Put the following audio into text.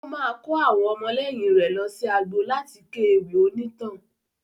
Ó máa kó àwọn ọmọlẹ́yìn rè lọsí agbo láti ké ewì onítàn.